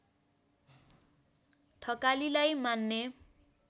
थकालीलाई मान्ने